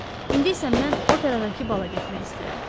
İndi isə mən operadakı bala getmək istəyirəm.